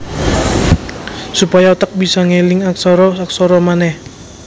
Supaya otak bisa ngeling aksara aksara manèh